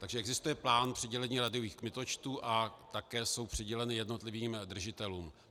Takže existuje plán přidělení rádiových kmitočtů a také jsou přiděleny jednotlivým držitelům.